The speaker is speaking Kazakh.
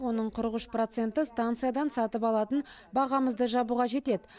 оның қырық үш проценті станциядан сатып алатын бағамызды жабуға жетеді